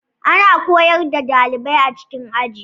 Ana koyar da dalibai a cikin Aji